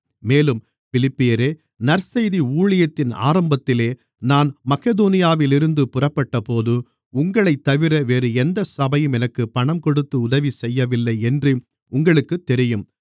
மேலும் பிலிப்பியரே நற்செய்தி ஊழியத்தின் ஆரம்பத்திலே நான் மக்கெதோனியாவிலிருந்து புறப்பட்டபோது உங்களைத்தவிர வேறு எந்த சபையும் எனக்குப் பணம் கொடுத்து உதவிசெய்யவில்லை என்று உங்களுக்குத் தெரியும்